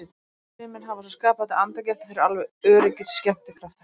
Sumir hafa svo skapandi andagift að þeir eru alveg öruggir skemmtikraftar.